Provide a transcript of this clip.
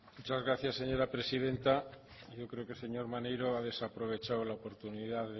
muchas gracias señora presidenta yo creo que el señor maneiro ha desaprovechado la oportunidad de